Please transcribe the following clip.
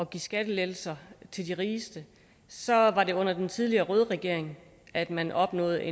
give skattelettelser til de rigeste så var det sådan under den tidligere røde regering at man opnåede